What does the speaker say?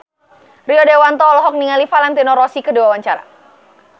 Rio Dewanto olohok ningali Valentino Rossi keur diwawancara